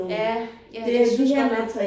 Ja ja jeg synes godt nok